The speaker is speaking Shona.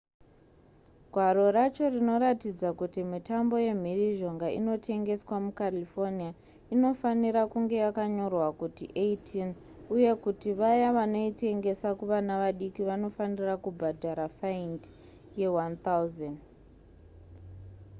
gwaro racho rinoratidza kuti mitambo yemhirizhonga inotengeswa mucalifornia inofanira kunge yakanyorwa kuti 18 uye kuti vaya vanoitengesa kuvana vadiki vanofanira kubhadhara faindi ye$1000